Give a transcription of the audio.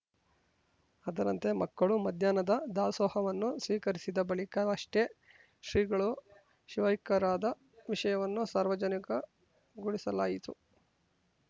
ಅದರಂತೆ ಮಕ್ಕಳು ಮಧ್ಯಾಹ್ನದ ದಾಸೋಹವನ್ನು ಸ್ವೀಕರಿಸಿದ ಬಳಿಕವಷ್ಟೇ ಶ್ರೀಗಳು ಶಿವೈಕ್ಯರಾದ ವಿಷಯವನ್ನು ಸಾರ್ವಜನಿಕಗೊಳಿಸಲಾಯಿತು